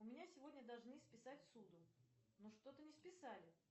у меня сегодня должны списать ссуду но что то не списали